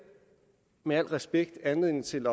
med al respekt anledning til